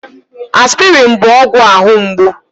Aspịrịn bụ ọgwụ ahụ mgbu.